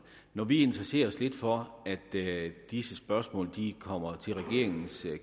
når vi interesserer os lidt for at disse spørgsmål kommer til regeringens